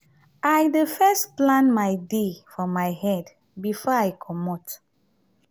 i dey first plan my day for my head before i comot.